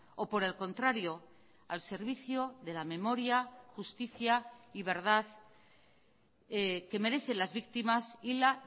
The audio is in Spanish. o por el contrario al servicio de la memoria justicia y verdad que merecen las víctimas y la